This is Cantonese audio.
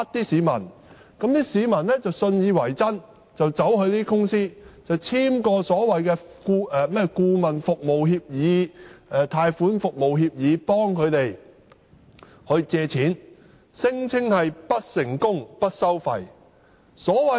市民信以為真，便到這些公司簽署所謂的顧問服務協議、貸款服務協議，由這些公司協助他們借貸，聲稱不成功不收費。